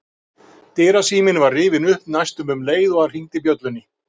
Dyrasíminn var rifinn upp næstum um leið og hann hringdi bjöllunni.